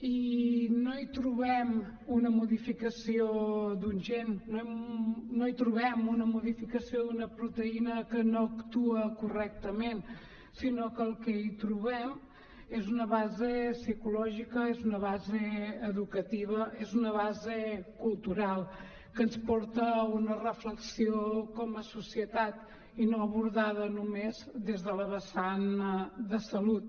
i no hi trobem una modificació d’un gen no hi trobem una modificació d’una proteïna que no actua correctament sinó que el que hi trobem és una base psicològica és una base educativa és una base cultural que ens porta a una reflexió com a societat i no abordada només des de la vessant de salut